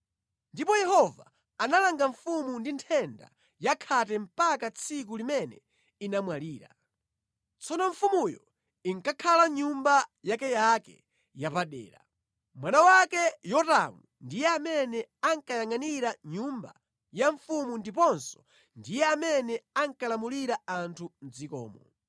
Ndipo Yehova analanga mfumu ndi nthenda ya khate mpaka tsiku limene inamwalira. Tsono mfumuyo inkakhala mʼnyumba yakeyake yapadera. Mwana wake Yotamu ndiye amene ankayangʼanira nyumba ya mfumu ndiponso ndiye amene ankalamulira anthu mʼdzikomo.